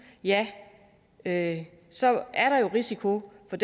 ja ja så er der jo risiko for